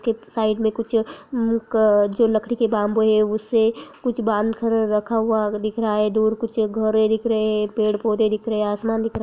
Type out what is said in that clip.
की साइड में कुछ एक जो लकड़ी के बाम्बू है उससे कुछ बांध कर रखा हुआ दिख रहा है दूर कुछ घर दिख रहे है पेड़-पौधे दिख रहे है आसमान दिख रहा है।